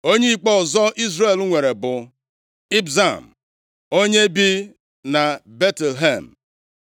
Onye ikpe ọzọ Izrel nwere bụ Ibzan onye bi na Betlehem. + 12:8 Obodo Betlehem nke a dị nʼala Zebụlọn, ọ dịghị na Juda.